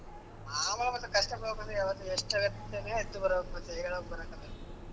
ಮಾಮೂಲ್ ಮತ್ತೆ ಕಷ್ಟ ಪಡ್ಬೇಕು ಅಂದ್ರೆ .